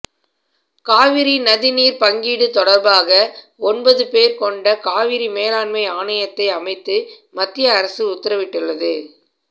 காவிரி நதிநீர் பங்கீடு தொடர்பாக ஒன்பது பேர் கொண்ட காவிரி மேலாண்மை ஆணையத்தை அமைத்து மத்திய அரசு உத்தரவிட்டுள்ளது